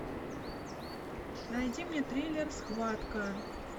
найди мне триллер схватка